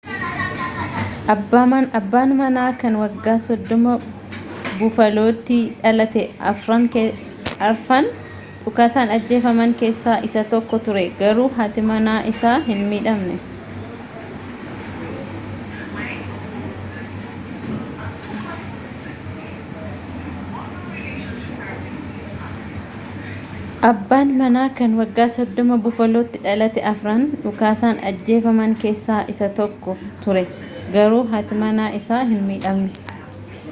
abbaan manaa kan waggaa 30 bufaalootti dhalate afran dhukaasaan ajjeefaman kessaa isa tokko ture garuu haati manaa isaa hin midhamne